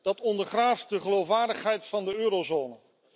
Dat ondergraaft de geloofwaardigheid van de eurozone.